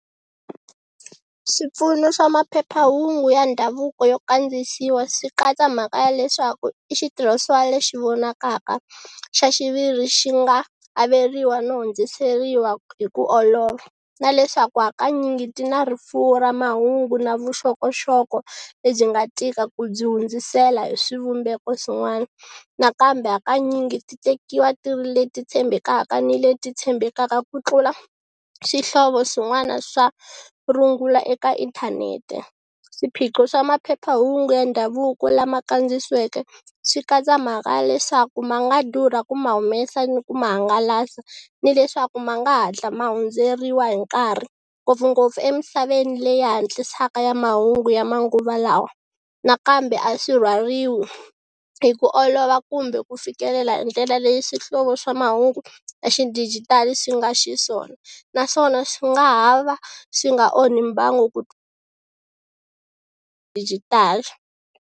Swipfuno swa maphephahungu ya ndhavuko yo kandziyisiwa swi katsa mhaka ya leswaku i xitirhisiwa lexi vonakaka xa xiviri xi nga averiwa no hundziseriwa hi ku olova, na leswaku hakanyingi ti na rifuwo ra mahungu na vuxokoxoko lebyi nga tika ku byi hundzisela hi swivumbeko swin'wana, nakambe hakanyingi ti tekiwa ti ri leti tshembekaka ni leti tshembekaka ku tlula swihlovo swin'wana swa rungula eka inthanete. Swiphiqo swa maphephahungu ya ndhavuko lama kandziyisiweke swi katsa mhaka ya leswaku ma nga durha ku ma humesa ni ku ma hangalasa ni leswaku ma nga hatla ma hundzeriwa hi nkarhi ngopfungopfu emisaveni leyi hatlisaka ya mahungu ya manguva lawa nakambe a swi rhwaliwi hi ku olova kumbe ku fikelela hi ndlela leyi swihlovo swa mahungu ya xidijitali swi nga xiswona. Naswona swi nga ha va swi nga onhi mbangu dijitali.